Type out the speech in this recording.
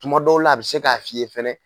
Tuma dɔw la a bɛ se k'a f'i ye fana